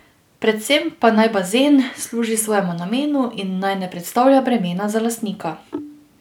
Predvsem pa naj bazen služi svojemu namenu in naj ne predstavlja bremena za lastnika.